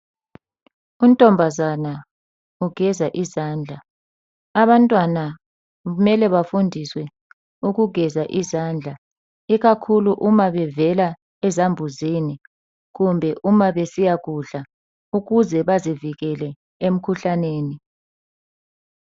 Untombazana ugeza izandla. Abantwana kumele bafundiswe ukugeza izandla ikakhulu uma bevela ezambuzini kumbe uma besiyakudla. Ukuze bazivikele emkhuhlaneni.